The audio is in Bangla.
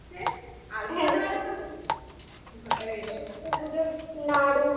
সরস্বতী পুজোর নাড়ু